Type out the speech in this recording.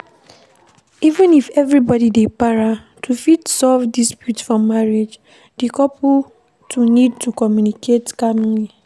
Even if everybody dey para, to fit solve dispute for marriage di couple fo need to commmunicate calmly